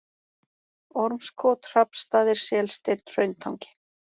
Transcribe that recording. Ormskot, Hrafnsstaðir, Selsteinn, Hrauntangi